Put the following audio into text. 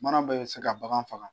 Mana bɛ se ka bagan faga.